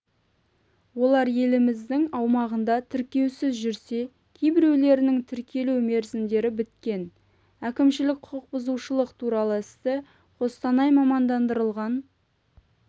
олар еліміздің аумағында тіркеусіз жүрсе кейбіреулерінің тіркелу мерзімдері біткен әкімшілік құқық бұзушылық туралы істі қостанай мамандандырылған